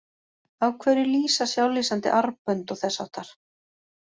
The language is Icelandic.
Af hverju lýsa sjálflýsandi armbönd og þess háttar?